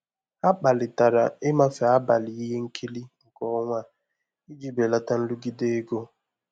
Ha kparịtara ịmafe abalị ihe nkiri nke ọnwa a iji belata nrụgide ego.